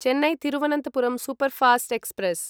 Chennai Thiruvananthapuram superfast express